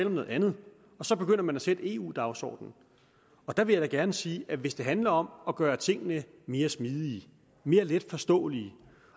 om noget andet og så begynder man at sætte eu dagsordenen og der vil jeg da gerne sige at hvis det handler om at gøre tingene mere smidige mere letforståelige